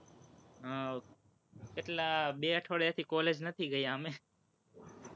હમ કેટલા, બે અઠવાડિયાથી college નથી ગયા અમે,